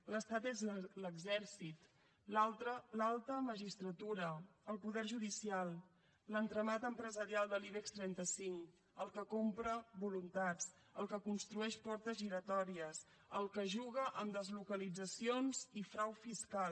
l’estat és l’exèrcit l’alta magistratura el poder judicial l’entramat empresarial de l’ibex trenta cinc el que compra voluntats el que construeix portes giratòries el que juga amb deslocalitzacions i frau fiscal